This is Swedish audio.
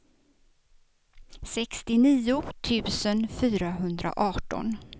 sextionio tusen fyrahundraarton